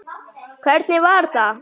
Hvernig var það?